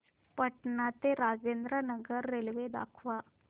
पटणा ते राजेंद्र नगर रेल्वे दाखवा